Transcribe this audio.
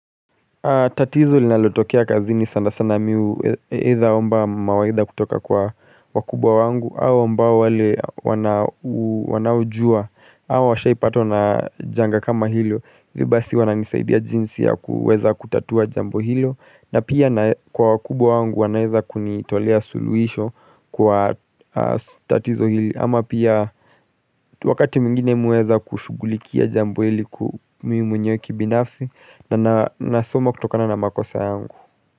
Tatizo linalotokea kazini sana sana mi hu edha omba mawaidha kutoka kwa wakubwa wangu au ambao wale wana wanaojua au washaipatwa na janga kama hilo. Hivi basi wananisaidia jinsi ya kuweza kutatua jambo hilo na pia kwa wakubwa wangu wanaeza kunitolea suluhisho kwa tatizo hili ama pia wakati mwingine mi huweza kushugulikia jambo hili kuu mimi mwenyewe ki binafsi. Na nasoma kutokana na makosa yangu.